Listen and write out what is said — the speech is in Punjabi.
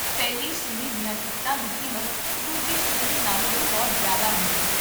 ਪਹਿਲੀ ਸ਼੍ਰੇਣੀ ਦੀਆਂ ਟਿਕਟਾਂ ਦੀ ਕੀਮਤ ਦੂਜੀ ਸ਼੍ਰੇਣੀ ਨਾਲੋਂ ਵੀ ਬਹੁਤ ਜ਼ਿਆਦਾ ਹੁੰਦੀ ਹੈ